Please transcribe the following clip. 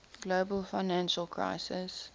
global financial crisis